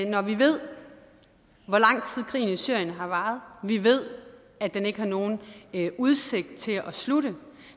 når vi ved hvor lang tid krigen i syrien har varet vi ved at den ikke har nogen udsigt til at slutte